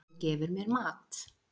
Hann gefur mér mat.